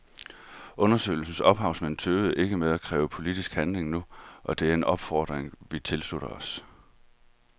Undersøgelsens ophavsmænd tøver ikke med at kræve politisk handling nu, og det er en opfordring vi tilslutter os.